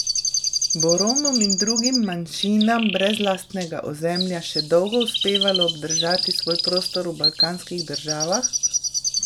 Bo Romom in drugim manjšinam brez lastnega ozemlja še dolgo uspevalo obdržati svoj prostor v balkanskih državah?